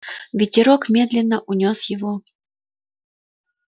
ветерок медленно унёс его